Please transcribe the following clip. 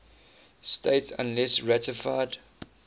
states unless ratified